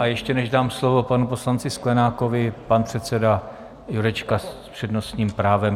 A ještě než dám slovo panu poslanci Sklenákovi, pan předseda Jurečka s přednostním právem.